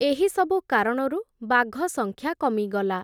ଏହିସବୁ କାରଣରୁ ବାଘସଂଖ୍ୟା କମିଗଲା ।